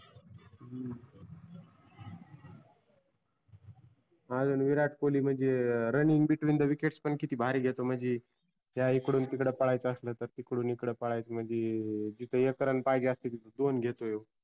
आजुन विराट कोल्ही म्हणजी sunning between the whikets किती भारी घेतो म्हणजी. त्या इकडून तिकड पळायच्या आसल्या तर, तिकडून इकड पळायच्या म्हणजी जिथ एक run पाहिजे असते तीथ दिन घेतो ह्यो.